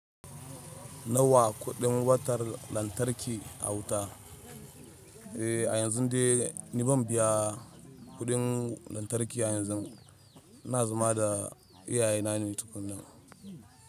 Nawa kuɗin watan lantarki a wuta? Eh a yanzun dai ni ban biya kidin lantarki a yanzu ina zama da iyaye na ne tukunna.